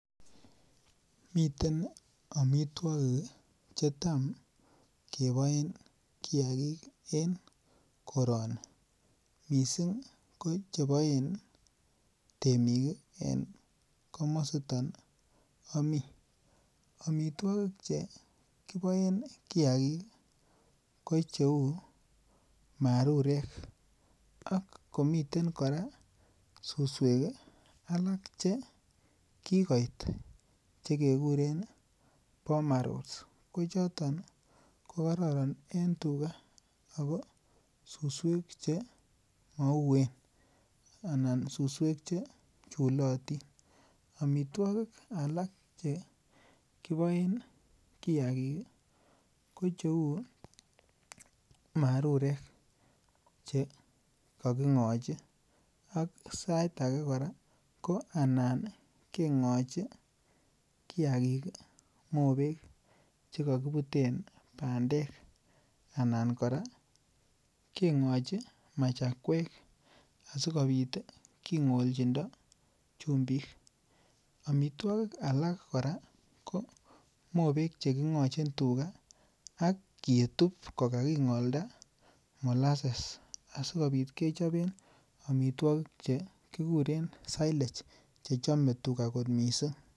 Miten amituakik chetam keboen kiagik en korani. Missing ko en komositon ih Ami. Amituakik che amituakik chekiboen kiagik ih kocheuu marurek akomiten kora susuek chekikoit chekikuren ih boma rolls ko choton ih kokraran en tuga Ako susuek chemauwen . Anan suswek che chulatin, amituakik alak chekiboen kiagik ih ko cheuu marurek, cha kaking'ochi anan sait age kora anan keng'ochi kiagik mobek chekokibuten bandek anan kora keng'ochi machamuek asikobit king'olchindo chumbik . Amituakik alak kora ko mobek cheking'ochin tuga agetub kokaking'olda molasses asikobit kechoben amituakik chekikuren silage chechome tuga kot missing.